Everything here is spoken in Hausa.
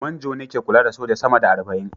Manjo ne ke kula da soja sama da arba'in